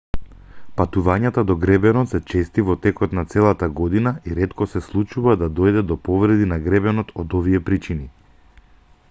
патувањата до гребенот се чести во текот на целата година и ретко се случува да дојде до повреди на гребенот од овие причини